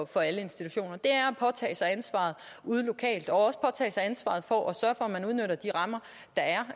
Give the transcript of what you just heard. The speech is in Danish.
for alle institutioner det er at påtage sig ansvaret ude lokalt også at påtage sig ansvaret for at sørge for at man udnytter de rammer der er